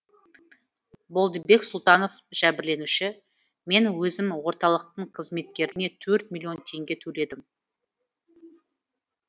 болдыбек сұлтанов жәбірленуші мен өзім орталықтың қызметкеріне төрт миллион теңге төледім